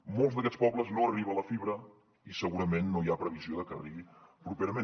a molts d’aquests pobles no hi arriba la fibra i segurament no hi ha previsió de que hi arribi properament